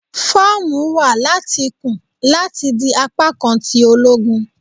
Fọọmu wa lati kun lati di apakan ti ologun